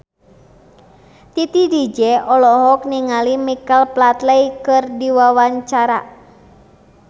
Titi DJ olohok ningali Michael Flatley keur diwawancara